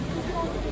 Yola boş qoy.